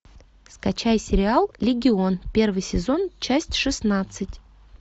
скачай сериал легион первый сезон часть шестнадцать